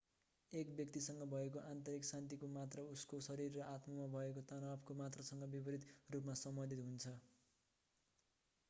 एक व्यक्तिसँग भएको आन्तरिक शान्तिको मात्रा उसको शरीर र आत्मामा भएको तनावको मात्रासँग विपरित रूपमा सम्बन्धित हुन्छ